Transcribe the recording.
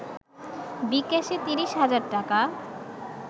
বি-ক্যাশে ৩০ হাজার টাকা